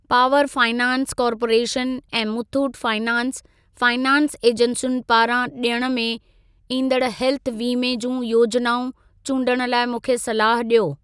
Power finance corporation ऐं Muthoot finance finance एजेंसियुनि पारां ॾियण में ईंदड़ हेल्थ वीमे जूं योजनाऊं चूंडण लाइ मूंखे सलाह ॾियो।